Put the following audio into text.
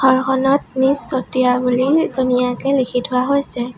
ঘৰখনত নিজ চতিয়া বুলি ধুনীয়াকে লিখি থোৱা হৈছে।